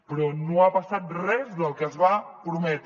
però no ha passat res del que es va prometre